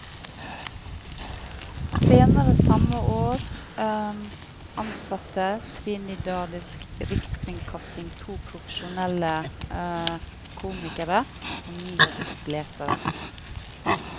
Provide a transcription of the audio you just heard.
Senere samme år ansatte trinidadisk rikskringkasting to profesjonelle komikere som nyhetsopplesere.